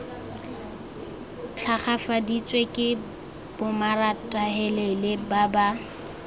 tlhagafaditswe ke bomaratahelele ba ba